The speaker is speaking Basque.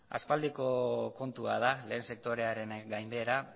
aspaldiko kontua da lehen sektorearen gainbehera